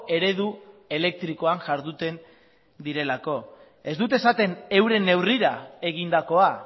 eredu elektrikoan jarduten direlako ez dute esaten euren neurrira egindakoa